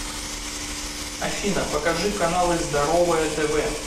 афина покажи каналы здоровое тв